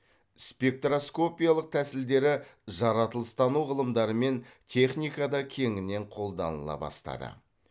спектроскопиялық тәсілдері жаратылыстану ғылымдары мен техникада кеңінен қолданыла бастады